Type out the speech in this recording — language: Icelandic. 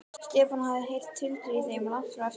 Stefán hafði heyrt tuldrið í þeim langt fram eftir nóttu.